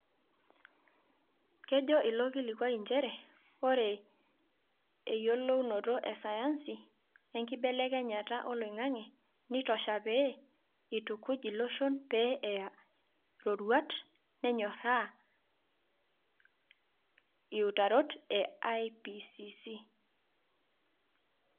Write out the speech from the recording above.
Kejo ilo kilikua nchere ore eyiolounoto e sayansi enkibelekenyata oloingange neitosha pee eitukuj iloshon pee eya roruata nenyoraa iutarot e IPCC.